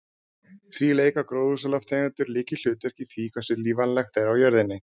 Því leika gróðurhúsalofttegundir lykilhlutverk í því hversu lífvænlegt er á jörðinni.